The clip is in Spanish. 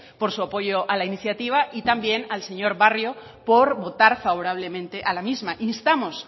por su apoyo a la iniciativa y también al señor barrio por votar favorablemente a la misma instamos